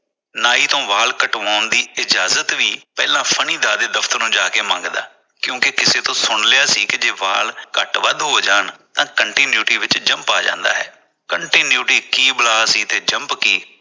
ਨਾਈ ਤੋਂ ਵਾਲ ਕਟਵਾਉਣ ਦੀ ਇਜਾਜ਼ਤ ਵੀ ਪਹਿਲਾਂ ਦੇ ਦਫਤਰੋ ਜਾ ਕੇ ਮੰਗਦਾ ਕਿਉਕਿ ਕਿਸੇ ਕੋਲੋ ਸੁਣ ਲਿਆ ਕੀ ਕਿਤੇ ਵਾਲ ਘੱਟ ਵੱਧ ਹੋ ਜਾਣ ਤਾਂ continuity ਵਿਚ ਜੰਪ ਆ ਜਾਂਦਾ ਹੈ continuity ਕੀ ਬਲਾ ਸੀ ਤੇ jump ਕੀ